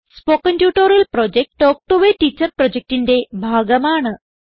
spoken tutorial project talk to a teacher പ്രൊജക്റ്റിന്റെ ഭാഗമാണ്